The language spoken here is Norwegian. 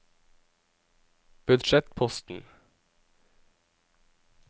budsjettposten